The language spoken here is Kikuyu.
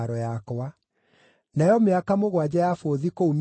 Nayo mĩaka mũgwanja ya bũthi kũu Misiri ĩgĩthira,